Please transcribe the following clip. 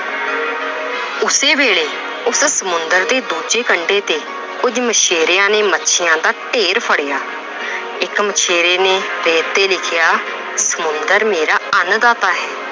ਉਸੇ ਵੇਲੇ ਉਸੇ ਸਮੁੰਦਰ ਦੀ ਦੂਜੀ ਕੰਡੇ ਤੇ ਕੁੱਝ ਮਛੇਰਿਆਂ ਨੇ ਮੱਸੀਆਂ ਦਾ ਢੇਰ ਫੜਿਆ ਇੱਕ ਮਛੇਰੇ ਨੇ ਰੇਤ ਤੇ ਲਿਖਿਆ ਸਮੁੰਦਰ ਮੇਰਾ ਅੰਨਦਾਤਾ ਹੈ।